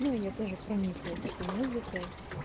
ну и я тоже прониклась этой музыкой